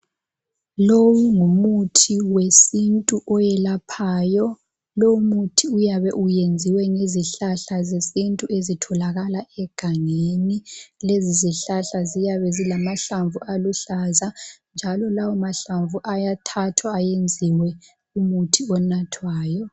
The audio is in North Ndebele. Lowu ngumuthi wesintu oyelaphayo. Lowo muthi uyabe uyenziwe ngezihlahla zesintu ezitholakala egangeni. Lezi zihlahla ziyabe zilamahlamvu aluhlaza njalo lawo mahlamvu ayathathwa ayenziwe umuthi onathwayo.